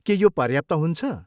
के यो पर्याप्त हुन्छ?